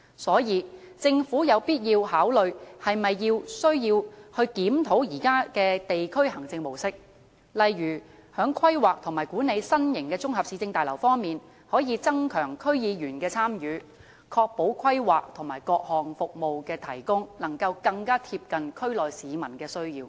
所以，政府有必要考慮需否檢討現時的地區行政模式，例如在規劃和管理新型綜合市政大樓方面，可以增強區議員的參與，確保規劃和各項服務的提供能夠更貼近區內市民的需要。